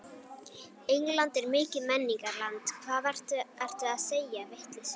England er mikið menningarland, hvað ertu að segja, vitleysu.